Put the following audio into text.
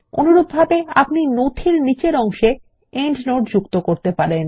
অনুরূপভাবে আপনি নথির নিচের অংশে প্রান্তটীকা যোগ করতে পারেন